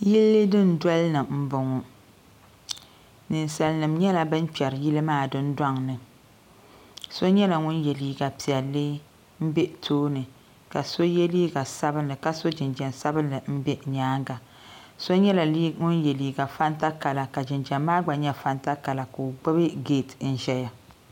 Yili dundolini m boŋɔ ninsalinima nyɛla ban kperi yili maa dundoŋni so nyɛla ŋun ye liiga piɛlli m be tooni la so ye liiga sabinli ka so jinjiɛm sabinli m be nyaanga so nyɛla ŋun ye.liiga fanta kala ka jinjiɛm maa gba nyɛ fanta kala ka o gbibi geeti n zaya.